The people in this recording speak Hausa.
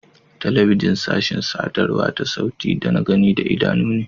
Telebijin sashin sadarwa ta sauti da na gani da idanu ne.